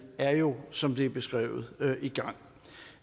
er jo som det er beskrevet i gang